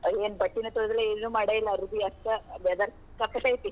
ಏನ್ ಬಟ್ಟಿನೇ ತೊಳ್ದಿಲ್ಲಾ ಏನು ಮಾಡೇ ಇಲ್ಲಾ ಅರಬಿ ಅಷ್ಟ್ weather ಐತಿ.